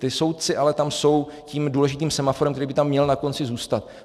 Ti soudci ale tam jsou tím důležitým semaforem, který by tam měl na konci zůstat.